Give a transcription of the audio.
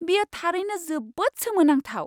बेयो थारैनो जोबोद सोमोनांथाव!